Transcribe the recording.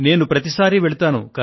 నేను ప్రతిసారి వెళతాను